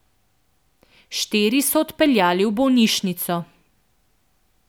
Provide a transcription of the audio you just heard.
Štiri so odpeljali v bolnišnico.